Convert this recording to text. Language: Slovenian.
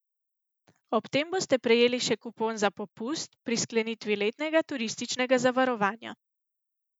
Ob tem boste prejeli še kupon za popust pri sklenitvi letnega turističnega zavarovanja.